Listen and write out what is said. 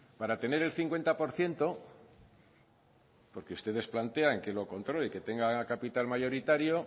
para tener el cincuenta por ciento porque ustedes plantean que lo controle y que tenga capital mayoritario